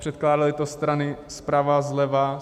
Předkládaly to strany zprava, zleva.